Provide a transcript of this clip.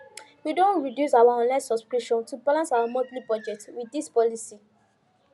we don reduce our online subscription to balance our monthly budget with this policy